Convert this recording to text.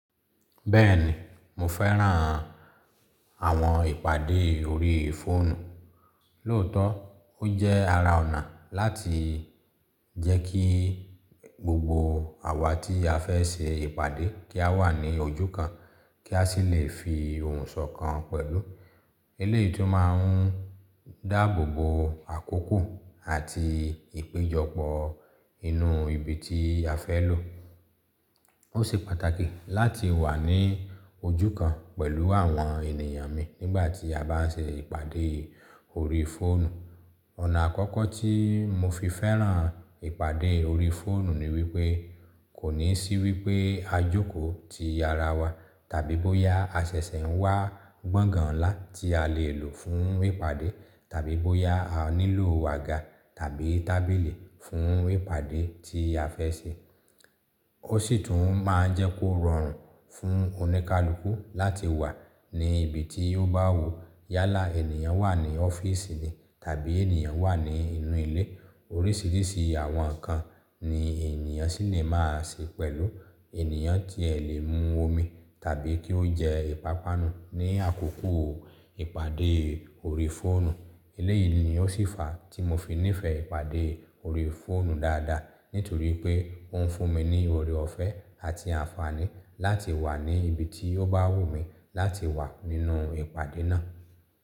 Bẹ́ẹ̀ni, mo fẹ́ràn àwọn ìpàdé ori fọ́ọ̀nù. Lóòótọ́, ó jẹ́ ara ọ̀nà láti jẹ́ kí gbogbo àwa tí a fẹ́ ṣe ìpàdé kí a wà ní ojú kan kí a sì lè fi ohùn sọkan pẹ̀lú. Eléyìí tún máa ń dáàbòbò àkókò àti ìpéjọpọ̀ inú ibi tí a fẹ́ lò. Ó ṣe pàtàkì láti wà ní ojú kan pẹ̀lú àwọn ènìyàn mi nígbà tí a bá ń ṣe ìpàdé ori fọ́ọ̀nù. Ọ̀nà àkọ́kọ́ tí mo fi fẹ́ràn ìpàdé ori fọ́ọ̀nù ni wípé kò ní sí wípé a jókòó ti ara wa tàbí bóyá a ṣẹ̀ṣẹ̀ ń wá gbọ̀ngàn ńlá tí a lè lò fún ìpàdé tàbí bóyá a nílò àga tàbí tábìlì fún ìpàdé tí a fẹ́ ṣe. Ó sì tún máa ń jẹ́ kó rọrùn fún oníkálukú láti wà ní ibi tí ó bá wù yá là, ènìyàn wà ní ọ́fíìsì ni tàbí ènìyàn wà ní inú ilé. Oríṣìíríṣìí àwọn ǹkan ni ènìyàn ṣì lè máa ṣe pẹ̀lú. Ènìyàn ti ẹ̀ lè mú omi tàbí kí ó jẹ ìpápánu ní àkókò ìpàdé ori fọ́ọ̀nù. Eléyìí ni ó ṣì fa tí mo fi nífẹ̀ẹ́ ìpàdé ori fọ́ọ̀nù dáadáa nítorí pé ó ń fún mi ní ọ̀rẹ́ ọ̀fẹ́ àti àǹfààní láti wà ní ibi tí ó bá wùmí láti wà nínú ìpàdé náà.